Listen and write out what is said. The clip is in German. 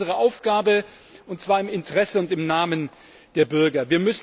Das ist unsere Aufgabe, und zwar im Interesse und im Namen der Bürger.